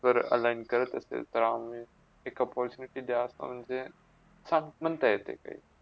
जर align करत असेल तर आम्ही एक opportunity दया म्हणजे काम बनता येते काय